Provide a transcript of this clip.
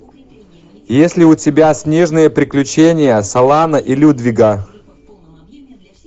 есть ли у тебя снежные приключения солана и людвига